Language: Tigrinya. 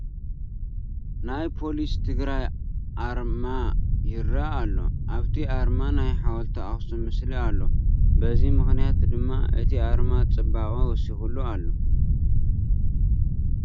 ናይ ፖሊስ ትግራይ ኣርማ ይርአ ኣሎ፡፡ ኣብቲ ኣርማ ናይ ሓወልቲ ኣኽሱም ምስሊ ኣሎ፡፡ በዚ ምኽንያት ድማ እቲ ኣርማ ፅባቐ ወሲኹ ኣሎ፡፡